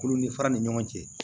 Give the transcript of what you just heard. Kulu ni fara ni ɲɔgɔn cɛ